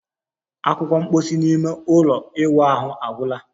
Akwukwo mposi n'ime ime ụlọ ịwụ ahụ agwụla